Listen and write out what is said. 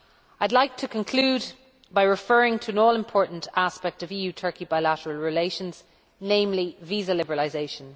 I would like to conclude by referring to an all important aspect of EU Turkey bilateral relations, namely visa liberalisation.